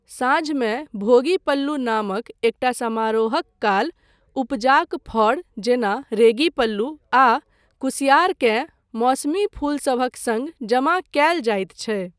साँझमे भोगी पल्लू नामक एकटा समारोहक काल, उपजाक फड़ जेना रेगी पल्लू आ कुसिआर केँ मौसमी फूलसभक सङ्ग जमा कयल जाइत छै।